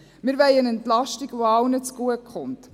Wir wollen eine Entlastung, die allen zugutekommt.